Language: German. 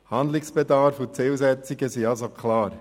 Handlungsbedarf und Zielsetzungen sind also klar.